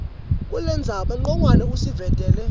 kulendzaba ncongwane usivetela